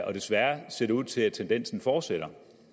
og desværre ser det ud til at tendensen fortsætter